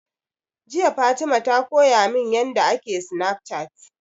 Jiya Fatima ta koya min yanda ake Snafcat